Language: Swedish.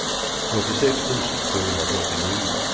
fyrtiosex tusen tvåhundrafyrtionio